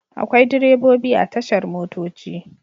Akwai direbobi a tashar motoci.